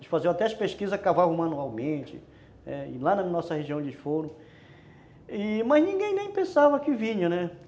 eles faziam até as pesquisas a cavalo manualmente e lá na nossa região onde eles foram, mas ninguém nem pensava que vinha, né?